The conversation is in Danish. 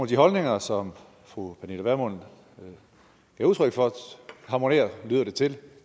de holdninger som fru pernille vermund gav udtryk for harmonerer lyder det til